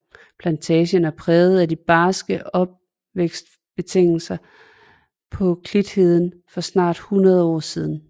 Plantagen er præget af de barske opvækstbetingelser på klitheden for snart 100 år siden